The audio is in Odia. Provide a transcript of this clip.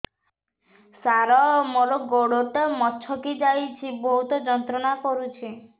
ସାର ମୋର ଗୋଡ ଟା ମଛକି ଯାଇଛି ବହୁତ ଯନ୍ତ୍ରଣା କରୁଛି